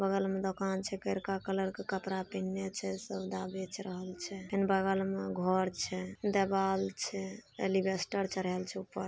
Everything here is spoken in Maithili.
बगल में दोकान छै करका कलर के कपड़ा पहिना छै सोडा बेच रहल छै फेन बगल में घर छै देवाल छै एलिवेस्टर चढ़ाल छै ऊपर।